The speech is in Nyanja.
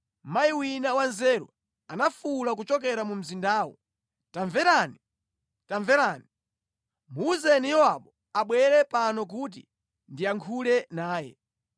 mayi wina wanzeru anafuwula kuchokera mu mzindawo, “Tamverani! Tamverani! Muwuzeni Yowabu abwere pano kuti ndiyankhule naye.”